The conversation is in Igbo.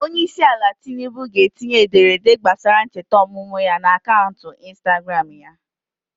Onyeisiala Tinubu ga-etinye ederede gbasara ncheta ọmụmụ ya n'akaụntụ Instagram ya.